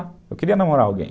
Eu queria namorar alguém.